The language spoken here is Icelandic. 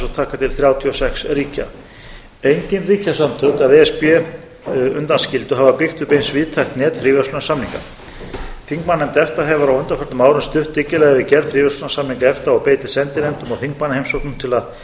og taka til þrjátíu og sex ríkja engin ríkjasamtök að e s b undanskildu hafa byggt upp eins víðtækt net fríverslunarsamninga þingmannanefnd efta hefur á undanförnum árum stutt dyggilega við gerð fríverslunarsamninga efta og beitir sendinefndum og þingmannaheimsóknum til að